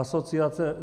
Asociace.